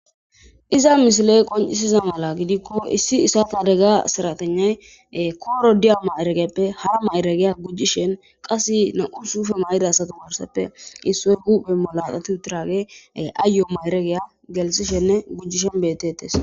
iza misiley qoncisiza mala gidikko issi issatadegga saratenay kooro diyama eregeppe ha mayregeya gujjishen qasse na7u sufe mayda satumarseppe issoy kuphe molaqatu traage aayo mayeregeya gelsishenne gujjishen bettettes